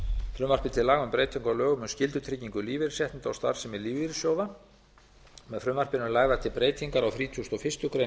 frumvarpi til laga um breytingu á lögum um skyldutryggingu lífeyrisréttinda og starfsemi lífeyrissjóða með frumvarpinu eru lagðar til breytingar á þrítugasta og fyrstu grein